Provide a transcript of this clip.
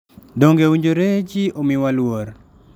Donge owinjore ji omiwa luor?